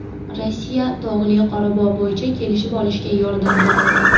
Rossiya Tog‘li Qorabog‘ bo‘yicha kelishib olishga yordam beradi.